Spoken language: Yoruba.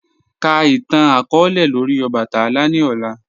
Ka itan itan-akọọlẹ lori obatala ni ọla.